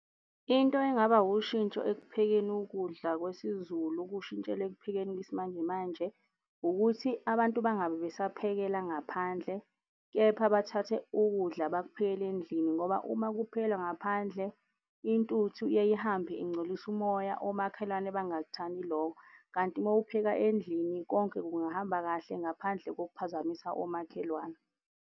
Into engaba ushintsho ekuphekeni ukudla kwesiZulu okushintshela ekuphekeni kwesimanjemanje ukuthi abantu bangabe besaphekela ngaphandle kepha bathathe ukudla bakuphekele endlini. Ngoba uma kuphekelwa ngaphandle intuthu iyaye ihambe ingcolise umoya omakhelwane bangakuthandi lokho, kanti uma uphekela endlini konke kungahamba kahle ngaphandle kokuphazamisa omakhelwane.